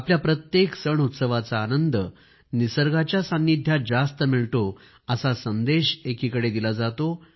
आपल्या प्रत्येक सणउत्सवाचा आनंद निसर्गाच्या सानिध्यात जास्त मिळतो असा संदेश एकीकडे दिला जातो